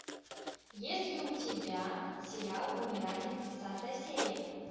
есть ли у тебя сериал вымирание тридцатая серия